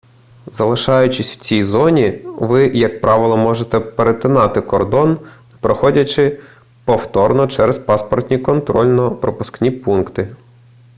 залишаючись в цій зоні ви як правило можете перетинати кордони не проходячи повторно через паспортні контрольно-пропускні пункти